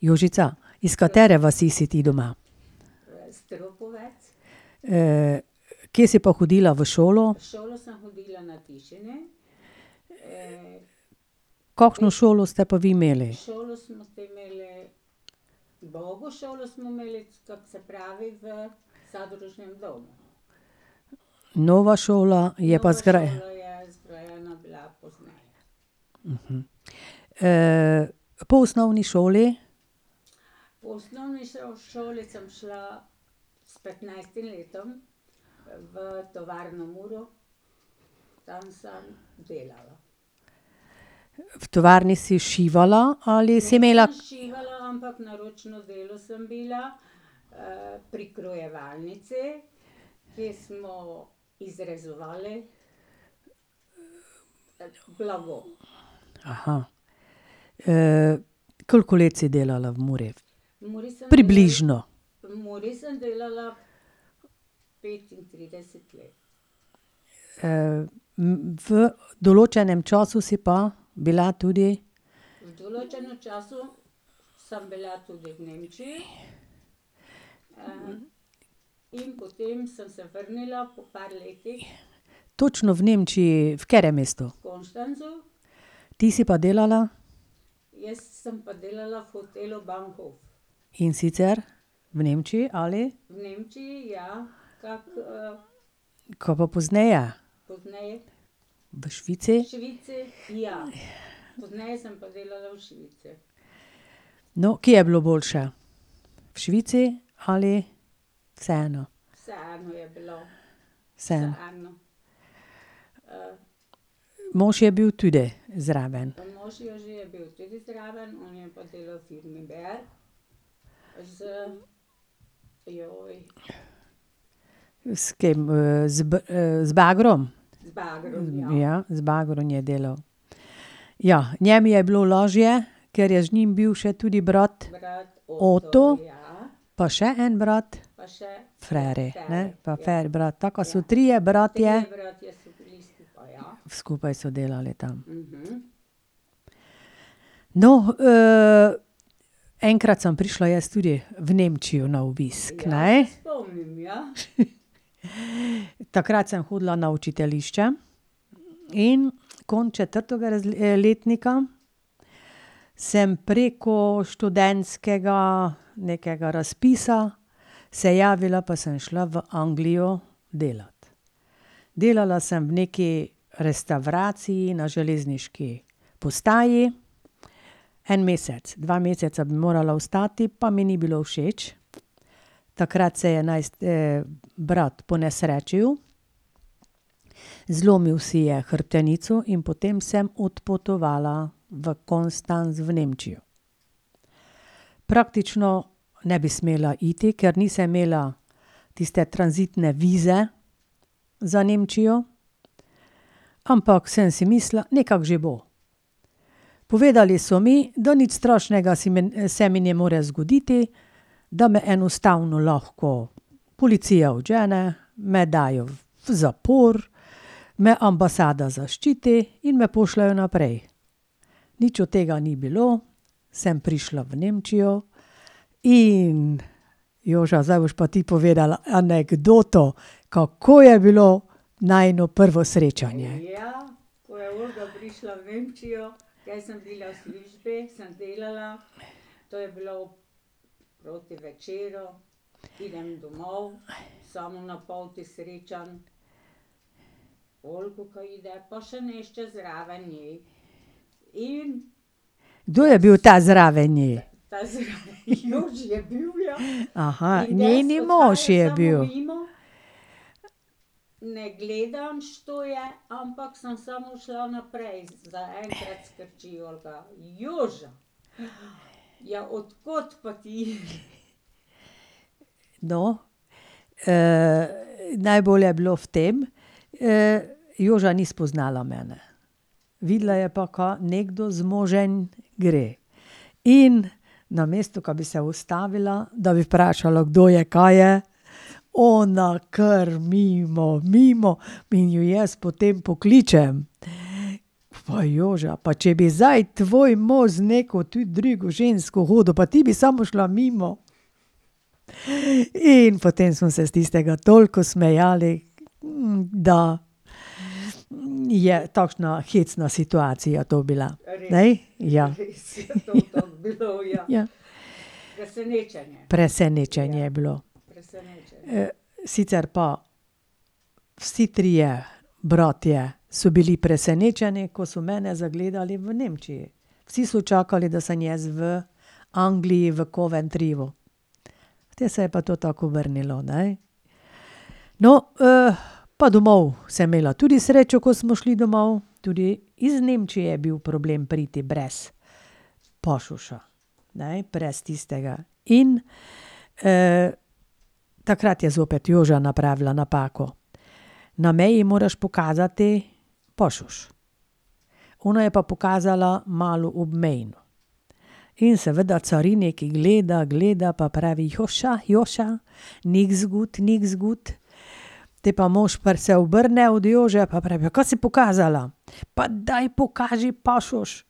Jožica, iz katere vasi si ti doma? kje si pa hodila v šolo? Kakšno šolo ste pa vi imeli? Nova šola je pa ... po osnovni šoli? V tovarni si šivala ali si imela ... koliko let si delala v Muri? Približno. v določenem času si pa bila tudi? Točno v Nemčiji, v katerem mestu? Ti si pa delala? In sicer, v Nemčiji, ali? Kaj pa pozneje? V Švici? No, kje je bilo boljše? V Švici ali vseeno? Vseeno. Mož je bil tudi zraven? S kim z z bagrom? Ja, z bagrom je delal. Ja, njem je bilo lažje, ker je z njim bil še tudi brat. Oto. Pa še en brat. Feri, ne, pa brat, tako so trije bratje. Skupaj so delali tam. No, enkrat sem prišla jaz tudi v Nemčijo na obisk, ne. Takrat sem hodila na učiteljišče in konec četrtega letnika sem preko študentskega nekega razpisa se javila pa sem šla v Anglijo delat. Delala sem v neki restavraciji na železniški postaji, en mesec, dva meseca bi morala ostati pa mi ni bilo všeč. Takrat se je brat ponesrečil. Zlomil si je hrbtenico in potem sem odpotovala v Konstanz v Nemčijo. Praktično ne bi smela iti, ker nisem imela tiste tranzitne vize za Nemčijo, ampak sem si mislila: "Nekako že bo." Povedali so mi, da nič strašnega si me, se mi ne more zgoditi, da me enostavno lahko policija odžene, me dajo v zapor, me ambasada zaščiti in me pošljejo naprej. Nič od tega ni bilo, sem prišla v Nemčijo. In Joža, zdaj boš pa ti povedala anekdoto, kako je bilo najino prvo srečanje. Kdo je bil ta zraven nje? njen mož je bil. No, najbolj je bilo v tem, Joža ni spoznala mene. Videla je pa, ka nekdo z možem gre. In namesto da bi se ustavila, da bi vprašala, kdo je, ka je, ona kar mimo, mimo, in ju jaz potem pokličem. Pa Joža, pa če bi zdaj tvoj mož z neko tu drugo žensko hodil, pa ti bi samo šla mimo. In potem smo se s tistega toliko smejali, da je takšna hecna situacija to bila. Ne? Ja. Presenečenje je bilo. sicer pa vsi trije bratje so bili presenečeni, ko so mene zagledali v Nemčiji. Vsi so čakali, da sem jaz v Angliji, v Coventryju. Potem se je pa to tako obrnilo, ne. No, pa domov sem imela tudi srečo, ko smo šli domov. Tudi iz Nemčije je bil problem priti brez pasoša, ne, brez tistega. In takrat je zopet Joža napravila napako. Na meji moraš pokazati pasoš, ona je pa pokazala malo obmejno. In seveda carinik gleda, gleda, pa pravi: "Joša, Joša, nichts gut, nichts gut." Potem pa mož se obrne od Jože pa pravi: "Ja, ka si pokazala? Pa daj pokaži pasoš!"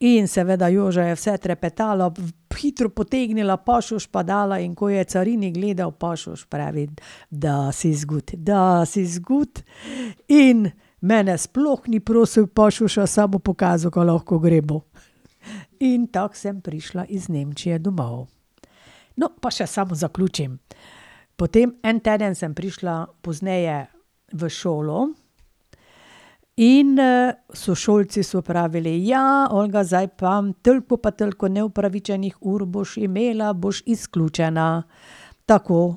In seveda Joža je vse trepetala hitro potegnila pasoš pa dala, in ko je carinik gledal pasoš, pravi: das ist gut, das ist gut." In mene sploh ni prosil pasoša, samo pokazal, ka lahko gremo. In tako sem prišla iz Nemčije domov. No, pa še samo zaključim. Potem en teden sem prišla pozneje v šolo. In sošolci so pravili: "Ja, Olga, zdaj pa toliko pa toliko neopravičenih ur boš imela, boš izključena." Tako.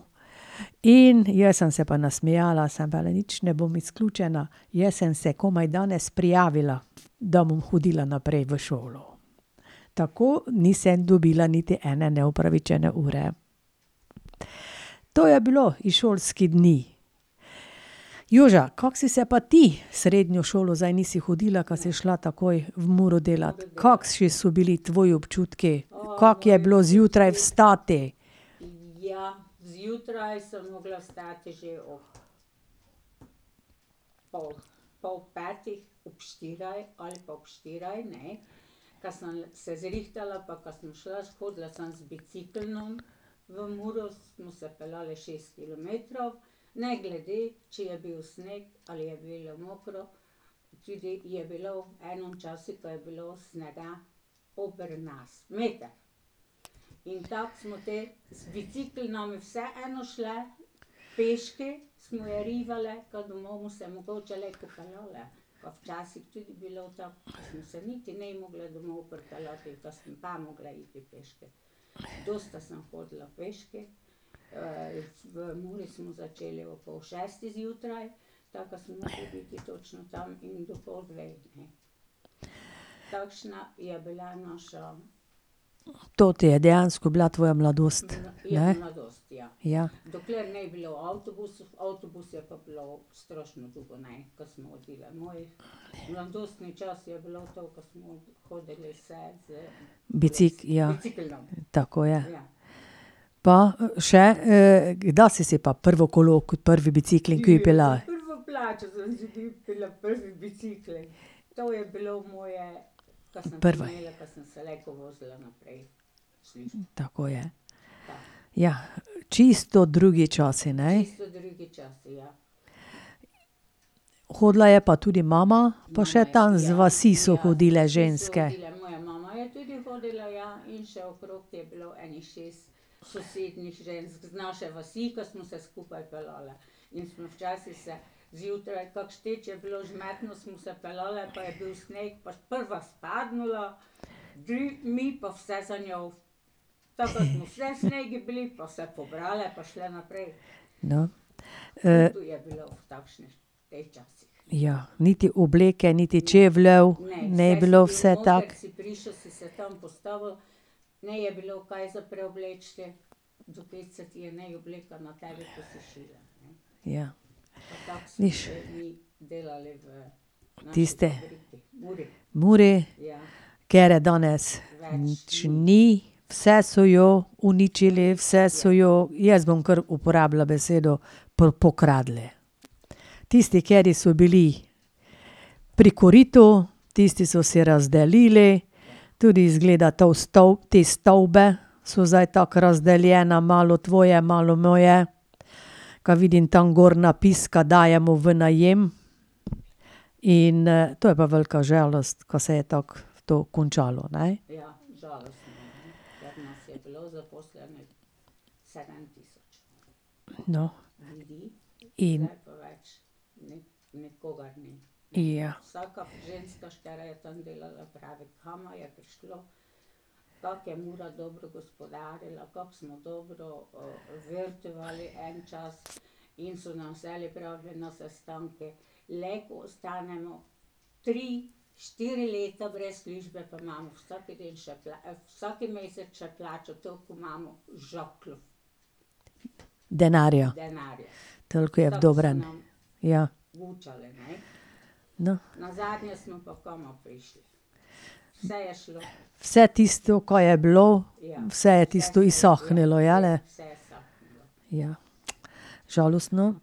In jaz sem se pa nasmejala, sem pa le: "Nič ne bom izključena, jaz sem se komaj danes prijavila, da bom hodila naprej v šolo." Tako nisem dobila niti ene neopravičene ure. To je bilo iz šolski dni. Joža, kako si se pa ti, v srednjo šolo zdaj nisi hodila, ke si šla takoj v Muro delat. Kakšni so bili tvoji občutki, kako je bilo zjutraj vstati? To ti je dejansko bila tvoja mladost, ne? Ja. ja, tako je. Pa še, kdaj si si pa prvo kolo, prvi bicikel kupila? Prva ... Tako je. Ja. Čisto drugi časi, ne? Hodila je pa tudi mama pa še tam z vasi so hodile ženske. No, ... Ja, niti obleke niti čevljev, ni bilo vse tako. Ja. Nič ... Tisti ... Muri. Ker je danes več ni, vse so jo uničili, vse so jo, jaz bom kar uporabila besedo pokradli. Tisti, kateri so bili pri koritu, tisti so si razdelili, tudi izgleda to te stavbe, so zdaj tako razdeljene, malo tvoje, malo moje. Kaj vidim tam gor napis, ka dajemo v najem. In to je pa velika žalost, ka se je tako to končalo, ne. No. In ... Ja. Denarja? Toliko je v dobrem. Ja. No ... Vse tisto, ka je bilo, vse je tisto izsahnilo, jeli? Ja, žalostno.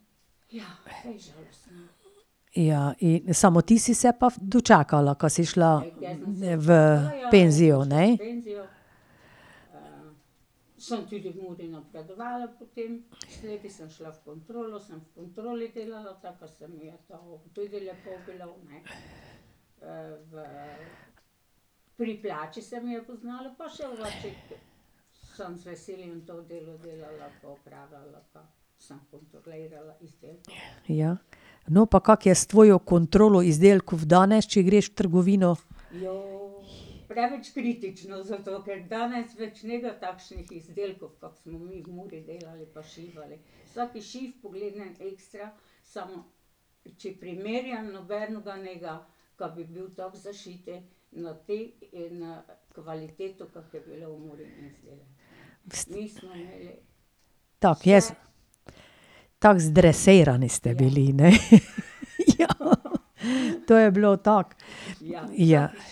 Ja in, samo ti si se pa dočakala, ka si šla v penzijo, ne? Ja. No, pa kako je s tvojo kontrolo izdelkov danes, če greš v trgovino? Tako, jaz ... Tako zdresirani ste bili, ne? To je bilo tako, ja. Vidiš,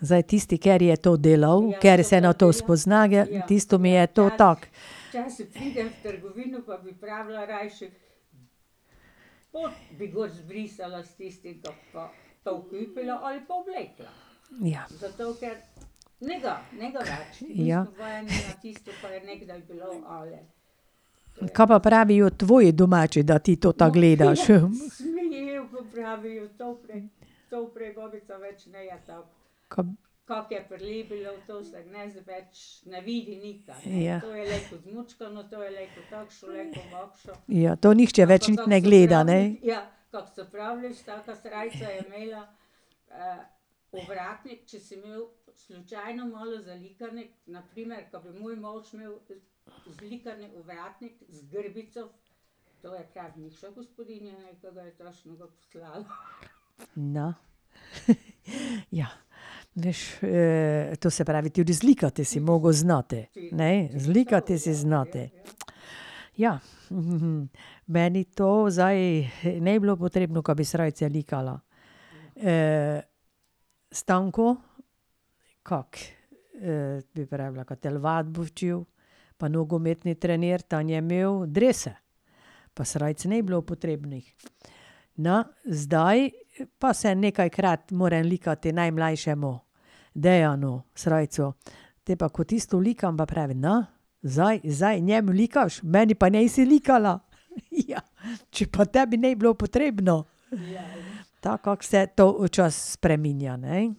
zdaj tisti, kateri je to delal, ker se na to spozna, tisto mi je to tako. Ja. Ja. Kaj pa pravijo tvoji domači, da ti to tako gledaš? Ja. Ja, to nihče več niti ne gleda, ne? No ... Ja, veš to se pravi, to je razlika, te si mogel znati, ne, zlikati si znati. Ja, meni to zdaj ni bilo potrebno, ka bi srajce likala. Stanko, kako bi pravila, ka telovadbo učil, pa nogometni trener, tan je imel drese. Pa srajc ni bilo potrebnih. Na, zdaj pa se nekajkrat mora likati najmlajšemu, Dejanu, srajco. Te pa, ko tisto likam, pa pravi: "No, zdaj, zdaj njemu likaš, meni pa nisi likala." "Ja, če pa tebi ni bilo potrebno." Tako, kako se to včasih spreminja, ne.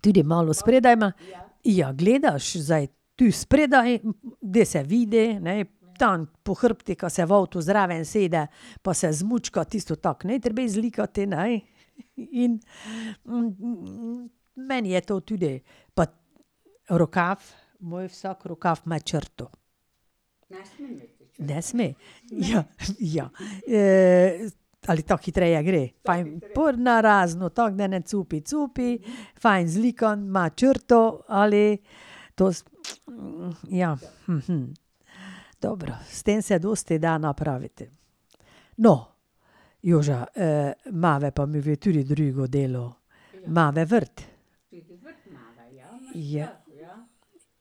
Tudi malo spredaj ... Ja, gledaš zdaj, tu spredaj, da se vidi, ne, tam po hrbtu, ka se v avtu zraven usede, pa se zmučka, tisto tako ni treba zlikati, ne. In meni je to tudi ... Pa rokav, moj vsak rokav ima črto. Ne sme. Ja, ja. ali tako hitreje gre, ... pa na razno tako, da ne cupi cupi, fajn zlikano, ima črto ali ... To ja, Dobro, s tem se dosti da napraviti. No, Joža, imava pa medve tudi drugo delo. Imava vrt.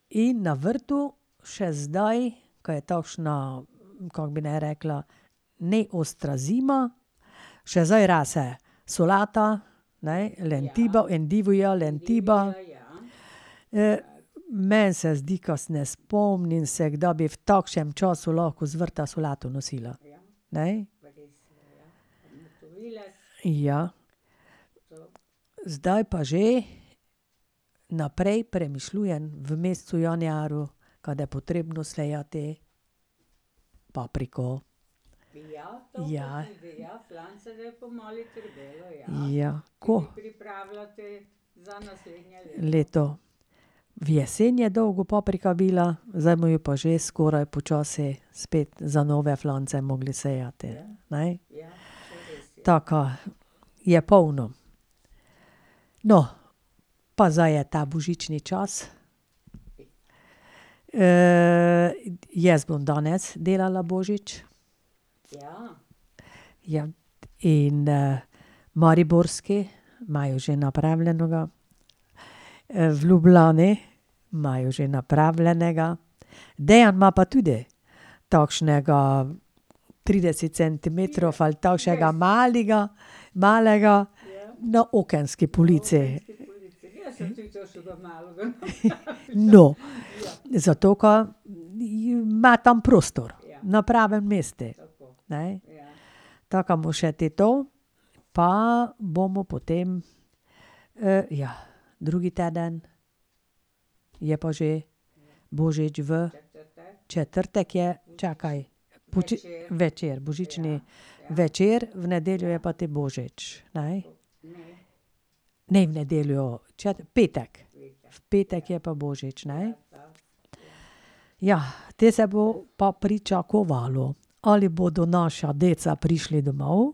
In na vrtu še zdaj, ka je takšna, kako bi naj rekla, ne ostra zima, še zdaj rase solata, ne, lentiba, endivija, lentiba. meni se zdi, ka se ne spomnim se, kdaj bi v takšnem času lahko z vrta solato nosila. Ne? Ja. Zdaj pa že naprej premišljujem, v mesecu januarju, kade potrebno sejati papriko. Ja. Ja. Ko ... Leto. V jesen je dolgo paprika bila, zdaj mu jo pa že skoraj počasi spet za nove flance mogli sejati, ne? Taka, je polno. No, pa zdaj je ta božični čas. jaz bom danes delala božič. Ja, in mariborski imajo že napravljeno ga. v Ljubljani, imajo že napravljenega. Dejan ima pa tudi takšnega trideset centimetrov ali tavšega malega, malega, na okenski polici. No ... Zato ker ima tam prostor, na pravem mestu, ne? Ta ka mu še ti to, pa bomo potem. ja, drugi teden je pa že božič v ... Četrtek je? Čakaj. večer, božični, večer, v nedeljo je pa te božič, ne? Ne, v nedeljo, petek. V petek je pa božič, ne? Ja, te se bo pa pričakovalo. Ali bodo naša deca prišli domov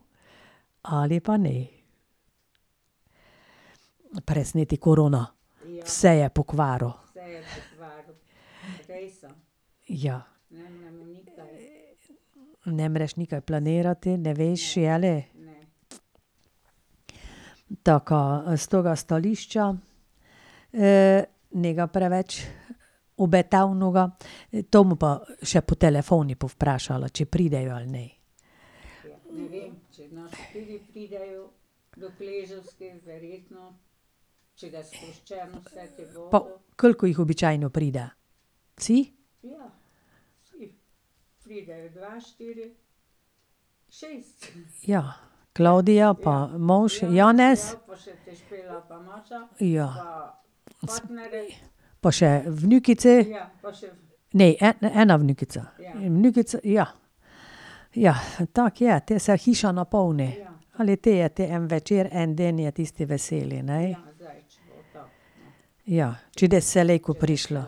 ali pa ne. Presneti korona, vse je pokvaril. Ja. Ne moreš nikaj planirati, ne veš, jeli? Taka stroga stališča, ne ga preveč obetavnega. to bom pa še po telefonu povprašala, če pridejo ali ne. Pa koliko jih običajno pride? Vsi? Ja, Klavdija pa mož Janez. Ja. Pa še vnukice. Ne, ena vnukica, ja. Ja, tako je, te se hiša napolni. Ali te je te en večer, en dan je tisti veseli, ne. Ja, če prišla.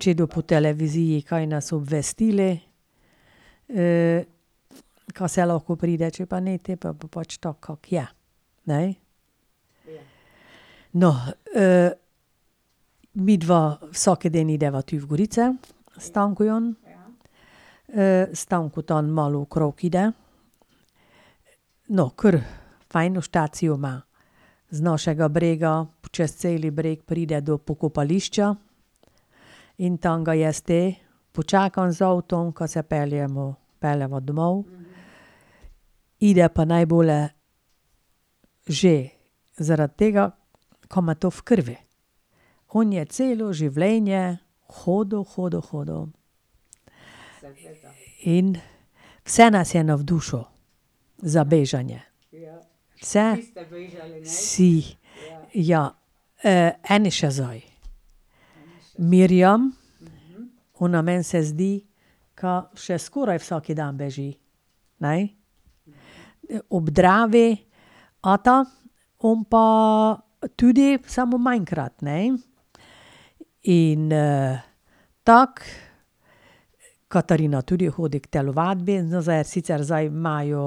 Če do po televiziji kaj naj obvestili. ka se lahko pride, če pa ne, potem pa bo pač tako, kako je, ne? No, midva vsak dan greva tu v gorice, s Stankom. Stanko tam malo okrog gre, no, kar fajn štacijo ima z našega brega. Čez celi breg pride do pokopališča. In tam ga jaz te počakam z avtom, ka se peljemo, peljeva domov. Gre pa najbolje že zaradi tega, ka ima to v krvi. On je celo življenje hodil, hodil, hodil. In vse nas je navdušil za bežanje, vse. Vsi. Ja, eni še zdaj. Mirjam, ona, meni se zdi, ka še skoraj vsak dan beži, ne, ob Dravi. Ata, on pa tudi, samo manjkrat, ne. In tako, Katarina tudi hodi k telovadbi, zdaj je sicer, zdaj imajo,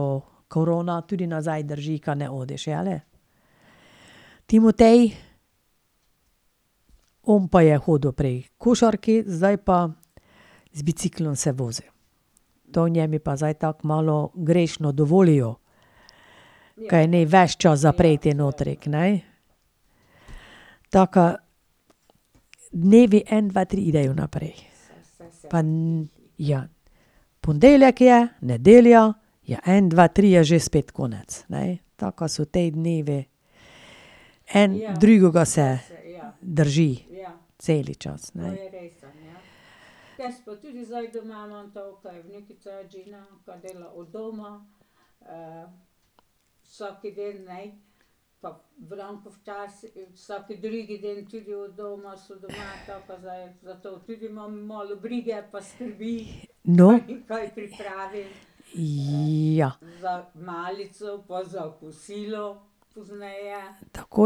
korona tudi nazaj drži, ka ne hodiš, jeli? Timotej, on pa je hodil prej h košarki, zdaj pa z biciklom se vozi. To njemu pa zdaj tako malo grešno dovolijo, kaj ni ves čas zaprt notri, kenej. Taka, dnevi en, dva, tri grejo naprej. Pa ... Ja. Ponedeljek je, nedelja, je en, dva, tri je že spet konec, ne. Taka so ti dnevi, en drugega se ... drži. Cel čas, ne. No. Ja. Tako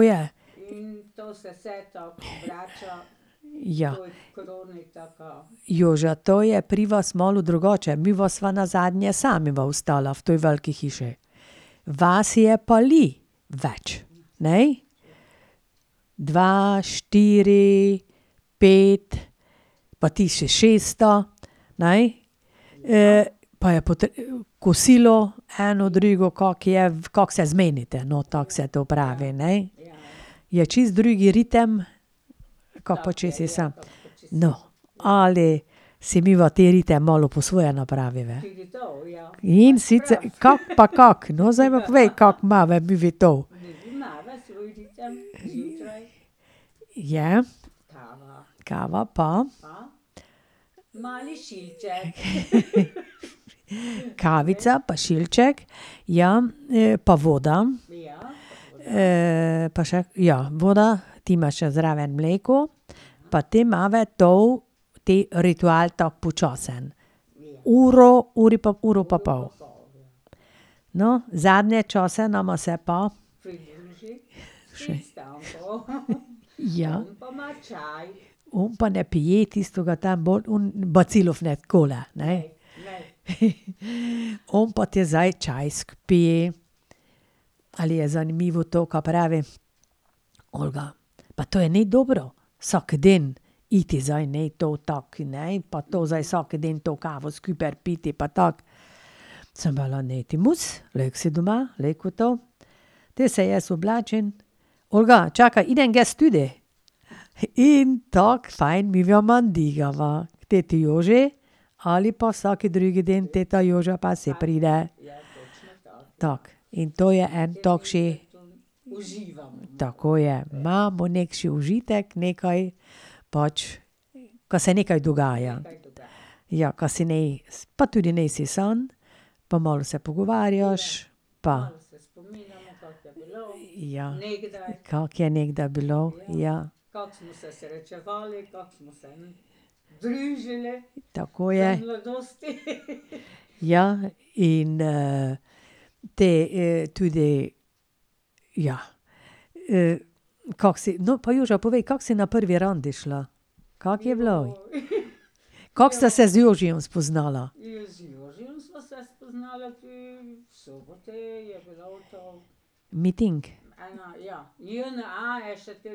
je. Ja. Joža, to je pri vas malo drugače. Midva sva nazadnje sama dva ostala v tej veliki hiši. Vas je pa le več, ne. Dva, štiri, pet, pa ti si še šesta, ne. pa je kosilo eno, drugo, kako je, kako se zmenite, no, tako se to pravi, ne. Je čisto drugi ritem, kako pa če si sam. No, ali si midva te rite malo po svoje napraviva? In kako pa kako. No, zdaj pa povej, kako imava midve to? Je ... Kava pa ... Kavica pa šilček, ja, pa voda. pa še, ja, voda, ti imaš še zraven mleko pa te imava to, te ritual tako počasen. Uro, uri, uro pa pol. No, zadnje čase nama se pa ... Ja. On pa ne pije tistega tam, bolj on bacilov ne , ne. On pa te zdaj čakaj skipi. Ali je zanimivo to, ka pravi: "Olga, pa to je, ni dobro, vsak dan iti, zdaj ni to tako, ne, pa to zdaj vsak dan to kavo skupaj piti pa tako. Sem : "Ni ti mus, lahko si doma, lejko to ..." Potem se jaz oblačim, "Olga, čakaj, grem jaz tudi." In tako fajn k teti Joži ali pa vsaki drugi dan ta Joža pa se pride. Tako in to je en ... Tako je, imamo neki užitek, nekaj pač, ka se nekaj dogaja. Ja, kaj si naj pa tudi nisi sam pa malo se pogovarjaš. Pa ... Ja. Kako je nekdaj bilo, ja. Tako je. Ja, in te tudi ... Ja, kako si, no, pa Joža povej, kako si na prvi randi šla? Kako je bilo? Kako sta se z Jožijem spoznala? Miting? Ja. Te